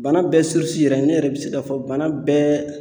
Bana bɛɛ yɛrɛ ne yɛrɛ bɛ se k'a fɔ bana bɛɛ